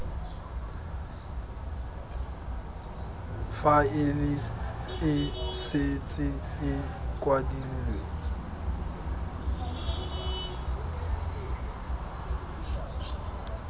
faele e setse e kwadilwe